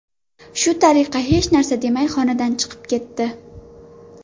Shu tariqa hech narsa demay xonadan chiqib ketdi.